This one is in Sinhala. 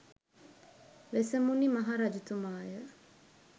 වෙසමුණි මහ රජතුමාය